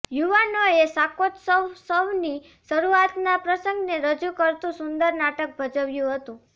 યુવાનોએ શાકોત્સસવની શરુઆતના પ્રસંગને રજુ કરતુ સુંદર નાટક ભજવ્યુ હતુ